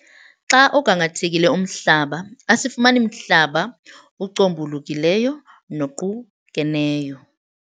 Xa ugangathekile umhlaba asifumani mhlaba ucombulukileyo noqukeneyo.